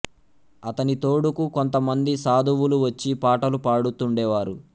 అతని తోడుకు కొంత మంది సాధువులు వచ్చి పాటలు పాడుతుండే వారు